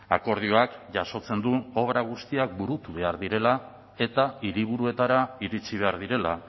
akordioak jasotzen du obra guztiak burutu behar direla eta hiriburuetara iritsi behar direla